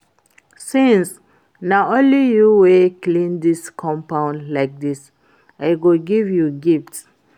Since na only you wey clean dis compound like dis I go give you gift